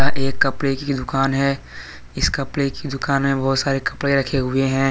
एक कपड़े की दुकान है इस कपड़े की दुकान मे बहुत सारे कपड़े रखे हुए हैं।